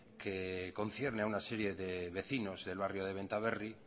que concierne a una serie de vecinos del barrio de benta berri